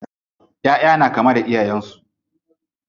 ƴaʼƴa na kama da iyayen su.